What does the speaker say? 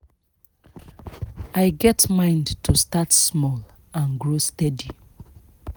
i get mind to start small and grow steady